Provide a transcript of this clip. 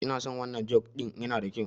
Inason wannan juk ɗin nan yana da kyau